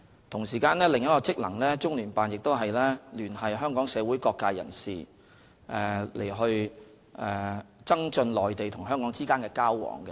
同時，中聯辦的另一個職能是聯繫香港社會各界人士，以增進內地與香港之間的交往。